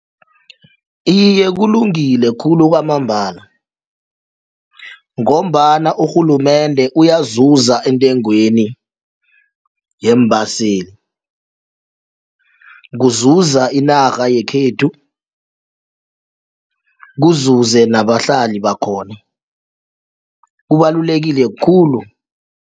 Iye, kulungile khulu kwamambala ngombana urhulumende uyazuza entengweni yeembaseli kuzuza inarha yekhethu kuzuze nabahlala bakhona kubalulekile khulu.